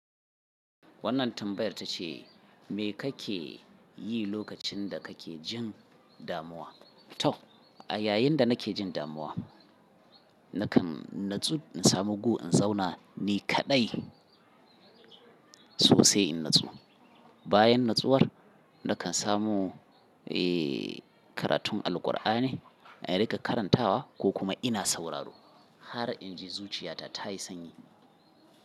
Wannan tambayar ta ce, me kake yi lokacin da kake jin damuwa? To, a yayin da nake jin damuwa, nakan natsu, in samu gu in zauna, ni kaɗai sosai in natsu. Bayan natsuwar nakan samu, eh, karatun Alqur'ani in riƙa karantawa ko kuma ina sauraro. Har inji zuciyata ta yi sanyi.